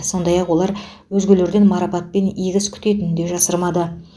сондай ақ олар өзгелерден марапат пен игі іс күтетінін де жасырмады